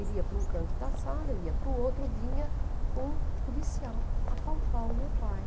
Ele ia para um canto da sala, eu ia para o outro, vinha um policial apalpar o meu pai.